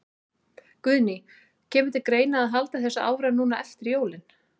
Guðný: Kemur til greina að halda þessu áfram núna eftir jólin?